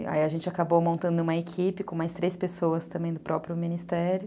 E aí a gente acabou montando uma equipe com mais três pessoas também do próprio ministério.